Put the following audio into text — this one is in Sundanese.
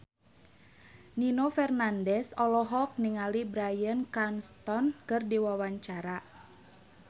Nino Fernandez olohok ningali Bryan Cranston keur diwawancara